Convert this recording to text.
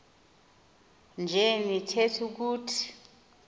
nje nitheth ukuthi